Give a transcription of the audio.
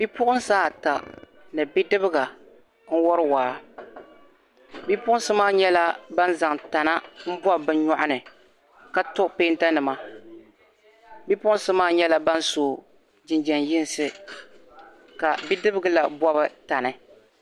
Bipuɣunsi ata ni bidibga n wori waa bipuɣunsi maa nyɛla bin zaŋ tana n bob bi nyoɣini ka to peenta nima bipuɣunsi maa nyɛla ban so jinjɛm yinsi Ka bidibga la bobi tani